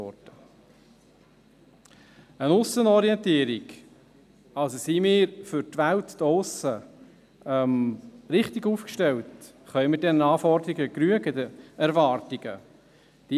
Eine Aussenorientierung – im Sinne von: Sind wir für die Welt da draussen richtig aufgestellt, können wir den Anforderungen und Erwartungen genügen?